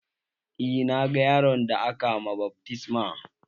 Eh na ga yaron da aka ma baftisma